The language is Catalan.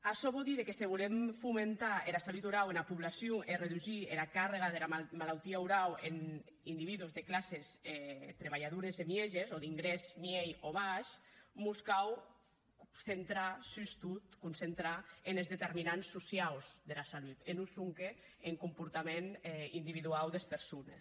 açò vò díder que se volem fomentar era salut orau ena poblacion e redusir era càrga dera malautia orau en individus de classes trabalhadores e mieges o d’ingrès miei o baish mos cau centrar sustot concentrar enes determinants sociaus dera salut e non sonque en comportament individuau des persones